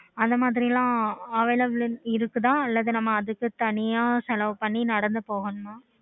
அந்த மாதிரி லாம் available இருக்குதா